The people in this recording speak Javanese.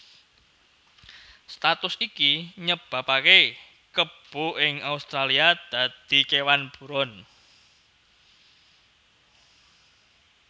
Status iki nyebabaké kebo ing Australia dadi kéwan buron